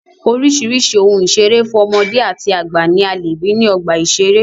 Oríṣìíríṣìí ohun ìṣere fún ọmọdé àti àgbà ní a lè rí ní ọgbà ìṣẹré.